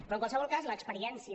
però en qualsevol cas l’experiència